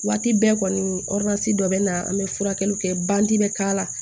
Waati bɛɛ kɔni dɔ bɛ na an bɛ furakɛliw kɛ bɛ k'a la